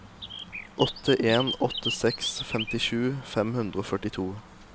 åtte en åtte seks femtisju fem hundre og førtito